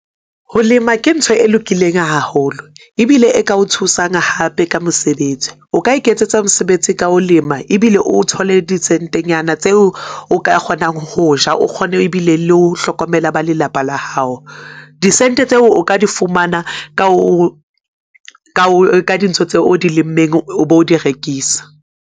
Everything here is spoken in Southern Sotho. Ho lema ke ntho e lokileng haholo, ebile e ka o tshosang hape ka mosebetsi. O ka iketsetsa mosebetsi ka ho lema ebile o thole disentenyana tseo o ka kgonang ho ja, o kgone ebile le ho hlokomela ba lelapa la hao. Disente tseo o ka di fumana ka ka dintho tseo o di lemmeng, o bo di rekisa.